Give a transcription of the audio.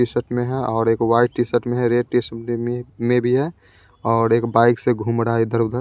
T-shirt में है और एक वाइट टी-शर्ट में है रेड टी-शर्ट में में भी है और एक बाइक से घूम रहा है इधर-उधर।